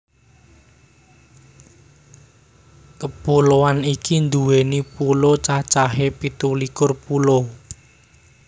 Kepuloan iki duwéni pulo cacahé pitu likur pulo